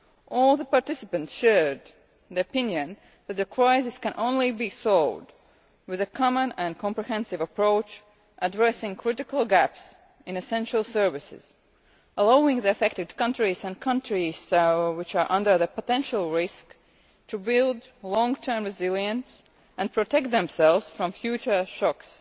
All the participants shared the opinion that the crisis can only be solved with a common and comprehensive approach addressing critical gaps in essential services, allowing the affected countries and countries which are at potential risk to build long-term resilience and protect themselves from future shocks.